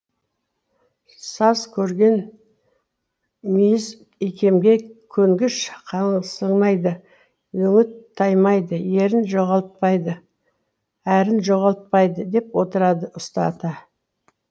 саз көрген мүйіз икемге көнгіш қаңсымайды өңі таймайды ерін жоғалтпайды әрін жоғалтпайды деп отырады ұста ата